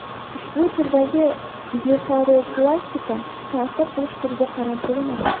Ushbu turdagi blefaroplastika ta’sir qilish turiga qarab bo‘linadi.